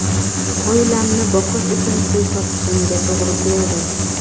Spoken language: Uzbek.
Oilamni boqish uchun pul topishimga to‘g‘ri keldi.